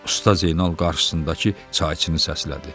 Usta Zeynal qarşısındakı çayçını səslədi.